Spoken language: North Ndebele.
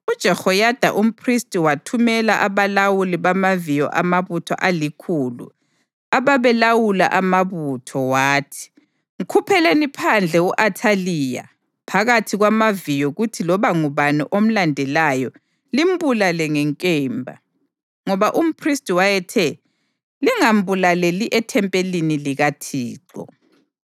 UJehoyada umphristi wathumela abalawuli bamaviyo amabutho alikhulu, ababelawula amabutho, wathi: “Mkhupheleni phandle u-Athaliya phakathi kwamaviyo kuthi loba ngubani omlandelayo limbulale ngenkemba.” Ngoba umphristi wayethe, “Lingambulaleli ethempelini likaThixo.”